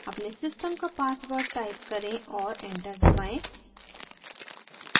अपने system का password type करें और enter दबाएं